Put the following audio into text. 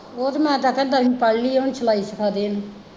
ਉਹ ਤੇ ਮੈਂ ਅੱਜ ਆਖਿਆ ਦਸਵੀਂ ਪੜ ਲਈ ਹੈ ਹੁਣ ਸਿਲਾਈ ਸਿਖਾ ਦੇ ਇਹਨੂੰ।